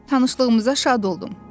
Tanışlığınıza şad oldum.